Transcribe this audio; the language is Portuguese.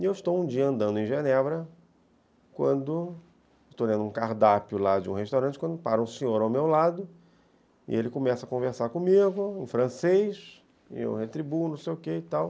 E eu estou um dia andando em Genebra, quando estou lendo um cardápio lá de um restaurante, quando para um senhor ao meu lado, e ele começa a conversar comigo em francês, e eu retribuo, não sei o quê e tal.